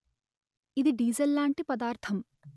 ఇది డీజెల్ లాంటి పదార్థం